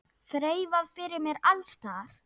Þreifað fyrir mér alls staðar.